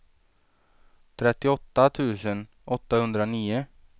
trettioåtta tusen åttahundranio